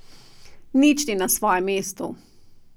Nič ni na svojem mestu.